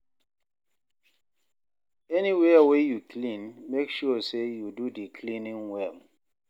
anywia wey yu clean, mek sure say yu do di cleaning well